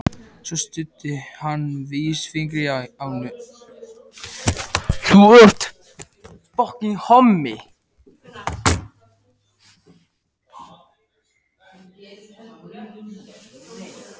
Svo studdi hann vísifingri á nös og snýtti sér duglega.